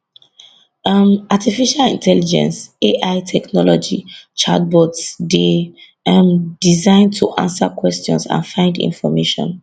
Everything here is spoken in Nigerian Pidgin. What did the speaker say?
um artificial intelligence ai technology chatbots dey um designed to answer questions and find information